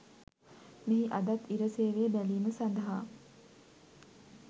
මෙහි අදත් ඉර සේවය බැලීම සඳහා